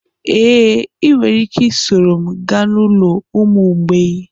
Ee, ị nwere ike soro m gaa n'ụlọ ụmụ mgbei